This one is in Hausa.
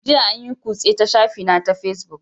Jiya an yi kutse ta shafina na Facebook